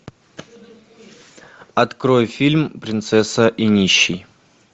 открой фильм принцесса и нищий